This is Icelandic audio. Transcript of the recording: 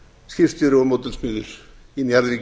skipstjóri og módelsmiður í njarðvíkum